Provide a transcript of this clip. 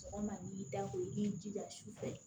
Sɔgɔma n'i dago i b'i jija sufɛ